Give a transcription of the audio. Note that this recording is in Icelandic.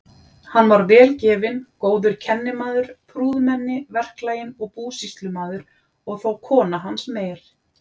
Hann var vel gefinn, góður kennimaður, prúðmenni, verklaginn og búsýslumaður, og þó kona hans meir.